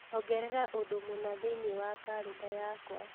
ongerera ũndũ mũna thĩinĩ wa kalenda yakwa